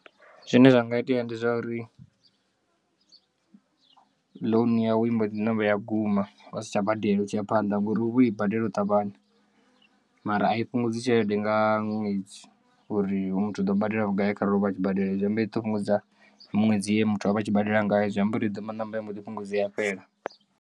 Zwine zwa nga itea ndi zwa uri loan yau i mbo ḓi ṋamba ya guma wa si tsha badela u tshi ya phanḓa ngori uvha woi badela u ṱavhanya mara a i fhungudzi tshelede nga ṅwedzi uri hoyu muthu u ḓo badela vhugai kharali ovha a tshi badela hei zwiamba idzo fhungudza miṅwedzi ye muthu avha a tshi badela ngayo zwiamba uri i ḓo ṋamba ya mboḓi fhungudza fhela.